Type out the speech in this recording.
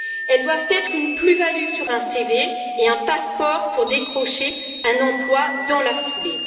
Elles doivent être une plus value sur un CV et un passeport pour décrocher un emploi dans la foulée.